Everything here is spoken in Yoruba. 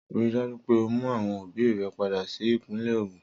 Rii daju pe o mu awọn obi rẹ pada si ipinle Ogun!